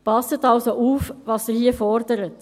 Passen Sie also auf, was Sie hier fordern!